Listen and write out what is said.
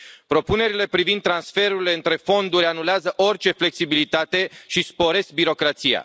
Propunerile privind transferurile între fonduri anulează orice flexibilitate și sporesc birocrația.